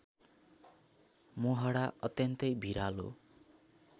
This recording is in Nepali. मोहडा अत्यन्तै भिरालो